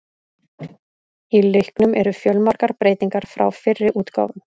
Í leiknum eru fjölmargar breytingar frá fyrri útgáfum.